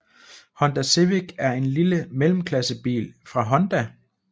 Honda Civic er en lille mellemklassebil fra Honda